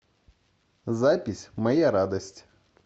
запись моя радость